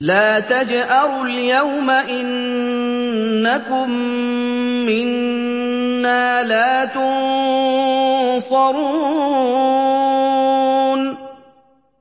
لَا تَجْأَرُوا الْيَوْمَ ۖ إِنَّكُم مِّنَّا لَا تُنصَرُونَ